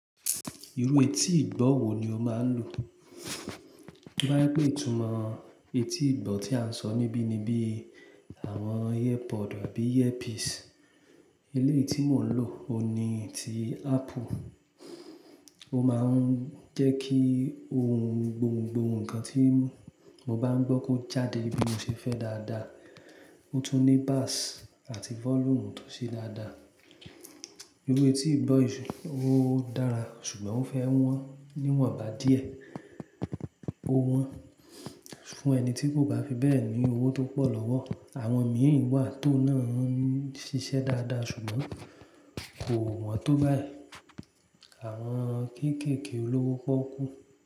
Irú etí ìgbọ̀ wo ni o máa ń lò? Bo ya pé ìtumọ̀ etí ìgbọ̀ tí à ń sọ níbí ni bí àwọn ear pod àbí earpiece. Eléyìí tí mò ń lò o ni ti Apple. Ó máa ń jẹ́ kí ohun gbogbogbò ń kan tí mo bá ń gbọ́ kó jáde bí mo ṣe fẹ́ dáadáa. Ó tún ní bass àti volume tó ṣe dáadáa. Irú etí ìgbọ̀ yìí o dára ṣùgbọ́n ó fẹ́ wọ́n níwọ̀nba díẹ̀. Ó wọ́n fún ẹni tí kò bá fi bẹ́ẹ̀ ní owó tó pọ̀ lọ́wọ́. Àwọn míi wà tó náà ń ṣiṣẹ́ dáadáa ṣùgbọ́n kò wọ́n tó báyìí. Àwọn kéékèèké olówó pọ́okú.